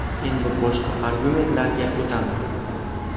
Endi boshqa argumentlarga o‘tamiz.